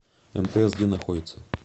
мтс где находится